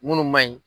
Minnu ma ɲi